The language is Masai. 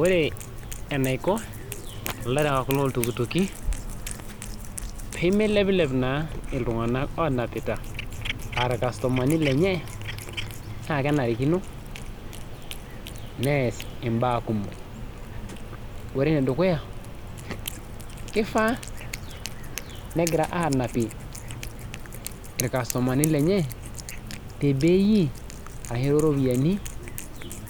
Ore enaiko ilarewak loo iltukutuki peemeilepilep iltung'anak oonapita naa kenarikino neas imbaa kumok ore enedukuya keifaa negira aanapie irkasutumani lenye tebei